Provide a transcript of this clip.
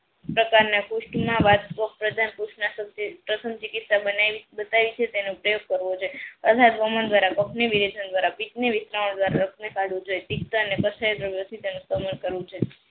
પ્રકારના પુસ્થ ના તેનો ઉપયોગ કરવો છે છે.